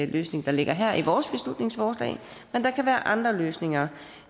løsning der ligger her i vores beslutningsforslag men der kan være andre løsninger